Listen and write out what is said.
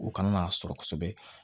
U kana n'a sɔrɔ kosɛbɛ